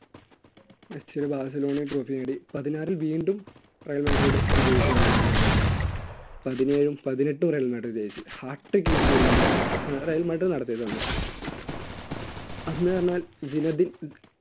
മെസ്സിയുടെ ബാസിലോണയും trophy നേടി പതിനാറ് വീണ്ടും റയൽ മാഡ്രിഡ് വിജയിക്കുകയാണ് ഉണ്ടായിരുന്നത് പതിനേഴും പതിനെട്ടും റയൽ മാഡ്രിഡ് ജയിച്ചു ഹാർട്ടിക് യൂസയിട് വിന്നും റയൽ മാഡ്രിഡ് നടത്തിയത് തന്ന